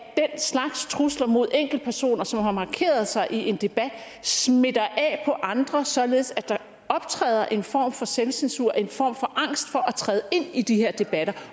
slags trusler mod enkeltpersoner som har markeret sig i en debat smitter af på andre således at der optræder en form for selvcensur en form for angst for at træde ind i de her debatter